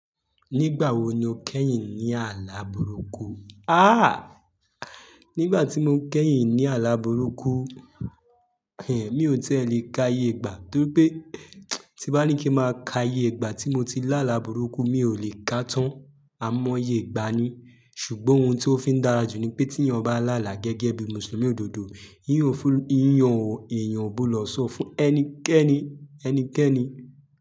Nígbà wo ni o kẹ́yìn ní àlà burúkú? Àh! Nígbà tí mo kẹ́yìn ní àlà burúkú, mi ò tiẹ́ lẹ̀ ká iyè igbà torí pé tí bá ní kí máa ká iyègbà tí mo ti lá àlà burúkú, mi ò lè ká tán. A mọ iyègbà ni. Ṣùgbọ́n ohun tí ó fi ń dára jù ni pé tí èèyàn bá là àlà gẹ́gẹ́ bí Mùsùlùmí òdodo, íyàn ò gbodó sọ fún ẹnikẹ́ni, ẹnikẹ́ni.